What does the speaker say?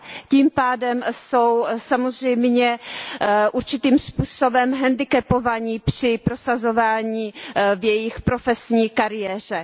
Tím pádem jsou samozřejmě určitým způsobem handicapované při prosazování ve své profesní kariéře.